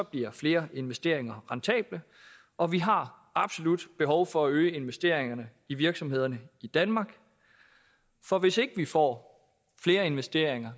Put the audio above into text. bliver flere investeringer rentable og vi har absolut behov for at øge investeringerne i virksomhederne i danmark for hvis ikke vi får flere investeringer